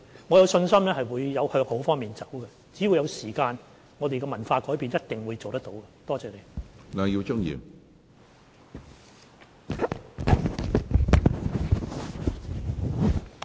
我有信心可以向好的方面改變，只要有時間，我們一定可以改變文化。